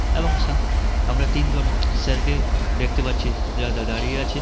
এবং সাম আমরা তিনজন স্যার কে দেখতে পাচ্ছি যাদা দাঁ-দাঁড়িয়ে আছে।